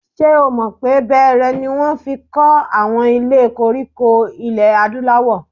Ṣé o mọ̀ pé bẹẹrẹ ni wọ́n fi kọ́ àwọn ilé koríko ilẹ̀ Adúláwọ̀?